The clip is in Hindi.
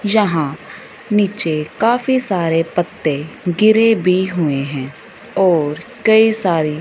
यहाँ नीचे काफी सारे पत्ते गिरे भी हुए है और कई सारी--